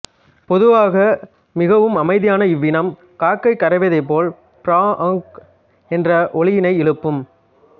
பொதுவாக மிகவும் அமைதியான இவ்வினம் காக்கை கரைவதைப்போல் ஃப்ராஆஆங்க் என்ற ஒலியினை எழுப்பும்